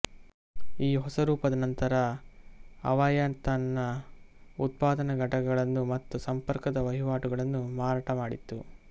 ಈ ಹೊಸ ರೂಪದ ನಂತರ ಅವಯಾ ತನ್ನ ಉತ್ಪಾದನಾ ಘಟಕಗಳನ್ನು ಮತ್ತು ಸಂಪರ್ಕದ ವಹಿವಾಟುಗಳನ್ನು ಮಾರಾಟ ಮಾಡಿತು